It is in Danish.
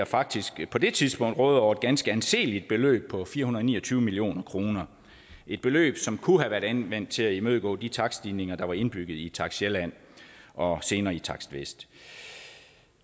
faktisk på det tidspunkt rådede over et ganske anseligt beløb på fire hundrede og ni og tyve million kroner det et beløb som kunne have været anvendt til at imødegå de takststigninger der var indbygget i takst sjælland og senere i takst vest